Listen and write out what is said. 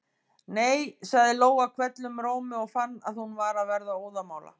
Nei, sagði Lóa hvellum rómi og fann að hún var að verða óðamála.